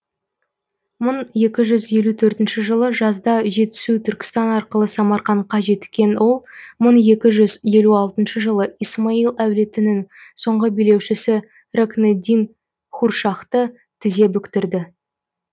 мың екі жүз елу төртінші жылы жазда жетісу түркістан арқылы самарқандқа жеткен ол мың екі жүз елу алтыншы жылы исмаил әулетінің соңғы билеушісі рокнеддин хуршахты тізе бүктірді